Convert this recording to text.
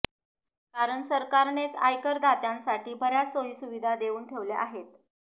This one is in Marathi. कारण सरकारनेच आयकरदात्यांसाठी बऱ्याच सोयी सुविधा देऊन ठेवल्या आहेत